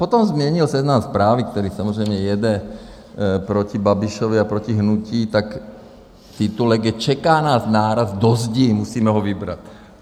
Potom změnil Seznam Zprávy, který samozřejmě jede proti Babišovi a proti hnutí, tak titulek je Čeká nás náraz do zdi, musíme ho vybrat.